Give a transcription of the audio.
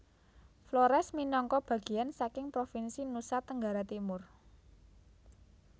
Flores minangka bageyan saking provinsi Nusa Tenggara Timur